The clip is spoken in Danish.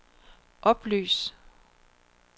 oplys